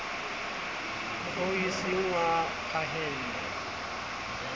oo e seng wa phahello